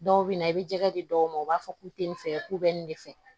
Dɔw bɛ na i bɛ jɛgɛ di dɔw ma u b'a fɔ k'u tɛ nin fɛ k'u bɛ nin de fɛ